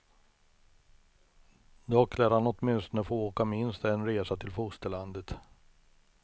Dock lär han åtminstone få åka minst en resa till fosterlandet.